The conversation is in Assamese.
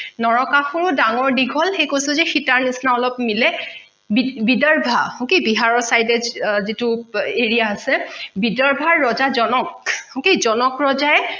নৰকাসুৰ ডাঙৰ দীঘল সেই কৈছো যে সীতাৰ নিচিনা অলপ মিলে bidova বিহাৰৰ side এ যিটো area আছে bidova ৰজা জনক okay জনক ৰজাই